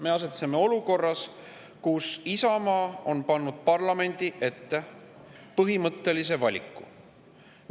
Me asetseme olukorras, kus Isamaa on pannud parlamendi ette põhimõttelise valiku.